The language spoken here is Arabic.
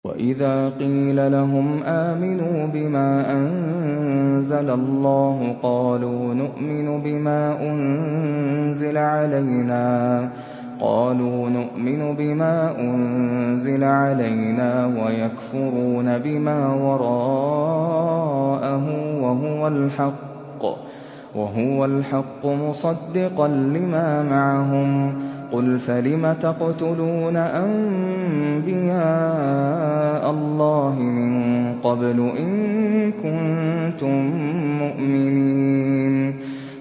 وَإِذَا قِيلَ لَهُمْ آمِنُوا بِمَا أَنزَلَ اللَّهُ قَالُوا نُؤْمِنُ بِمَا أُنزِلَ عَلَيْنَا وَيَكْفُرُونَ بِمَا وَرَاءَهُ وَهُوَ الْحَقُّ مُصَدِّقًا لِّمَا مَعَهُمْ ۗ قُلْ فَلِمَ تَقْتُلُونَ أَنبِيَاءَ اللَّهِ مِن قَبْلُ إِن كُنتُم مُّؤْمِنِينَ